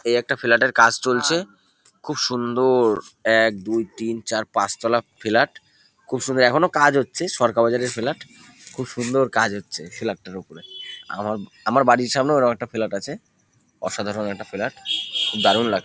এই একটা ফ্লাট এর কাজ চলছে। খুব সুন্দর-র-র এক দুই তিন চার পাঁচ তোলা ফ্লাট । খুব সুন্দ এখনো কাজ হচ্ছে সরকা বাজারের ফ্লাট । খুব সুন্দর কাজ হচ্ছে ফ্লাট -টার উপরে। আমা আমার বাড়ির সামনেও এরম একটা ফ্লাট আছে। অসাধারণ একটা ফ্লাট । খুব দারুন লাগ --